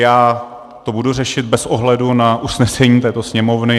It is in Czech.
Já to budu řešit bez ohledu na usnesení této Sněmovny.